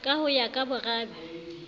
ka ho ya ka borabe